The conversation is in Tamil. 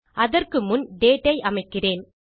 அதற்கு முன் டேட் ஐ அமைக்கிறேன்